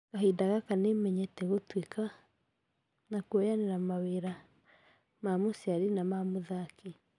Kahinda gaka nĩ menyete gũtuika .....na kũoyanira mawira ma mũciari na ma mũthaki